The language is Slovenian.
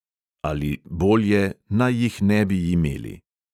Ali, bolje, naj jih ne bi imeli.